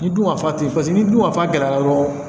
Ni dun ka fa teyi paseke ni dun ka fa gɛlɛyara dɔrɔn